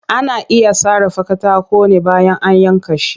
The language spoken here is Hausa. Ana iya sarrafa katako ne bayan an yanka shi